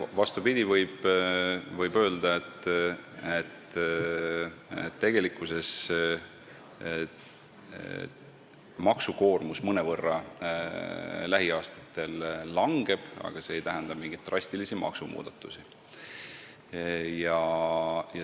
Vastupidi, võib öelda, et tegelikkuses maksukoormus lähiaastatel mõnevõrra langeb, aga see ei tähenda mingeid drastilisi maksumuudatusi.